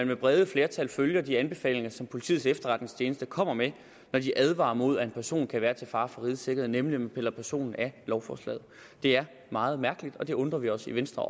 med brede flertal følger de anbefalinger som politiets efterretningstjeneste kommer med når de advarer imod at en person kan være til fare for rigets sikkerhed nemlig ved at man piller personen af lovforslaget det er meget mærkeligt og det undrer vi os i venstre